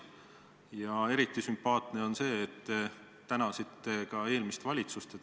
Ja eriti sümpaatne on see, et te tänasite ka eelmist valitsust.